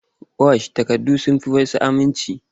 Wash takardun sun fi wasu aminci.